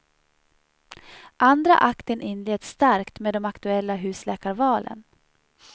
Andra akten inleds starkt med de aktuella husläkarvalen.